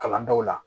Kalan daw la